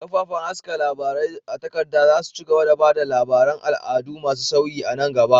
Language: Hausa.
Kafafen haska labarai a takarda za su ci gaba da ba da labaran al'adu masu sauyi a nan gaba.